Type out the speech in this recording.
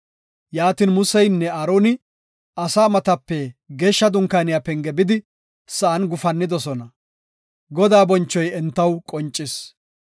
Yaatin Museynne Aaroni asaa matape geeshsha dunkaaniya penge bidi sa7an gufannidosona; Godaa bonchoyka entaw qoncis.